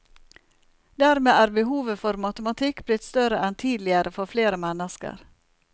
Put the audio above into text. Dermed er behovet for matematikk blitt større enn tidligere for flere mennesker.